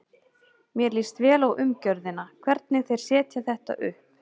Mér líst vel á umgjörðina, hvernig þeir setja þetta upp.